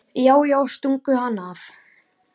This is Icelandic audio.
Já, já, stungu hann af!